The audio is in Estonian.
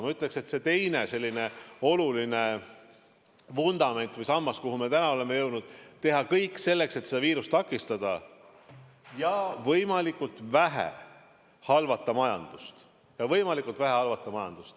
Ma ütleksin, et see teine oluline vundament või sammas, milleni me oleme jõudnud, on see, et tuleb teha kõik selleks, et seda viirust takistada, ja võimalikult vähe halvata majandust.